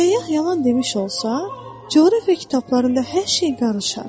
Səyyah yalan demiş olsa, coğrafiya kitablarında hər şey qarışar.